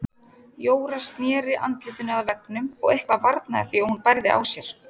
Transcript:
Jóra sneri andlitinu að veggnum og eitthvað varnaði því að hún bærði á sér.